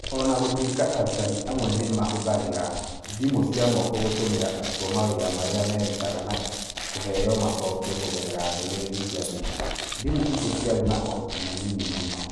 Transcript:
O na gũtuĩka arutani amwe nĩ maahũthagĩra thimũ cia moko gũtũmĩra arutwo mawĩra marĩa merutaga na kũheo macokio kũgerera ndũmĩrĩri cia thimũ, thimũ icio ciarĩ na ũhoti mũnini mũno.